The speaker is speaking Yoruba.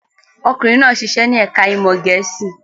Ọkùnrin náà ṣiṣẹ́ ní ẹ̀ka-ìmọ̀ Gẹ̀ẹ́sì.